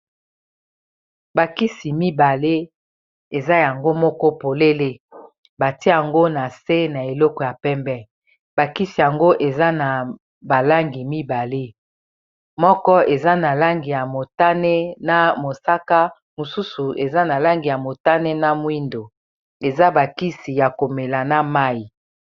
Bakisi mibale eza yango moko polele bati yango na se na eleko ya pembe bakisi yango eza na balangi mibale moko eza na langi ya motane na mosaka mosusu eza na langi ya motane na mwindo eza bakisi ya komela na mayi